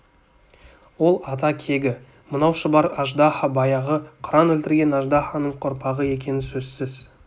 ол ата кегі мынау шұбар аждаһа баяғы қыран өлтірген аждаһаның ұрпағы екені сөзсіз